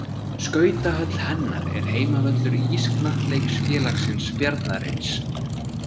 Skautahöll hennar er heimavöllur Ísknattleiksfélagsins Bjarnarins.